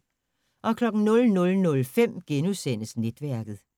00:05: Netværket *